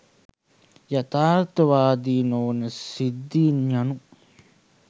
යථාර්ථවාදී නොවන සිද්ධීන් යනු